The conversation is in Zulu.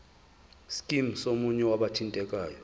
scheme somunye wabathintekayo